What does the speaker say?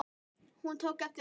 Hún tók eftir honum!